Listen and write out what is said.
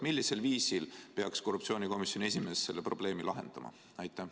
Millisel viisil peaks siis korruptsioonikomisjoni esimees selle probleemi lahendama?